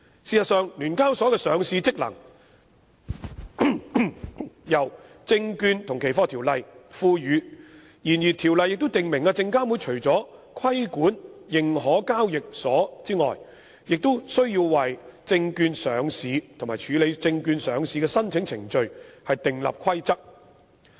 事實上，聯交所的上市職能由《證券及期貨條例》所賦予，然而《條例》亦訂明證監會除規管認可交易所外，亦須為證券上市及處理證券上市的申請程序訂立規則。